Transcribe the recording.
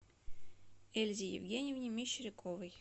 эльзе евгеньевне мещеряковой